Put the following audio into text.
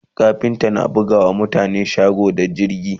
kafinta na buga wa mutane shago da katako da zingi